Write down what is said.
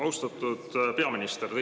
Austatud peaminister!